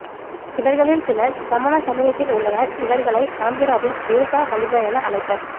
இவர்களில் சிலர் சமண சமயத்தில் உள்ளனர் இவர்களை ஆந்திராவில் தேசா பலிஜா என அழைப்பர்